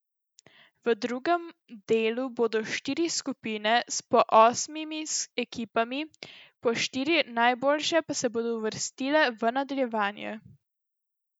V drugem delu bodo štiri skupine s po osmimi ekipami, po štiri najboljše pa se bodo uvrstile v nadaljevanje.